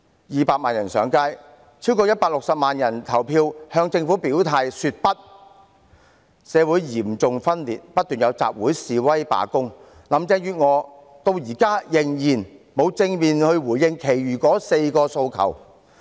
二百萬人上街，超過160萬人投票向政府表態說不，社會嚴重分裂，不斷有集會、示威、罷工。林鄭月娥至今仍然沒有正面回應其餘4個訴求。